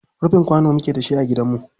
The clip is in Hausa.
Rufin kwano muke da shi a gidanmu.